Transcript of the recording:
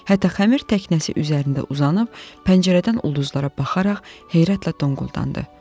Hətta xəmir təknəsi üzərində uzanıb pəncərədən ulduzlara baxaraq heyrətlə dondu.